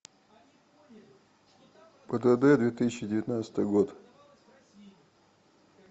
пдд две тысячи девятнадцатый год